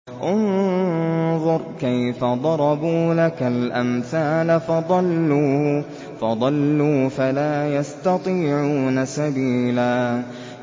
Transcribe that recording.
انظُرْ كَيْفَ ضَرَبُوا لَكَ الْأَمْثَالَ فَضَلُّوا فَلَا يَسْتَطِيعُونَ سَبِيلًا